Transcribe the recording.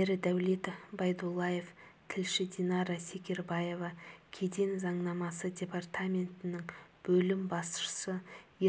ердәулет байдуллаев тілші динара секербаева кеден заңнамасы департаментінің бөлім басшысы